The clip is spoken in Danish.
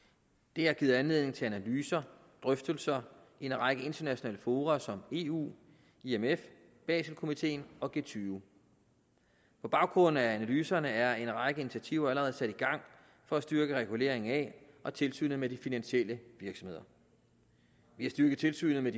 det har givet anledning til analyser drøftelser i en række internationale fora som eu imf baselkomiteen og g20 på baggrund af analyserne er en række initiativer allerede sat i gang for at styrke reguleringen af og tilsynet med de finansielle virksomheder ved at styrke tilsynet med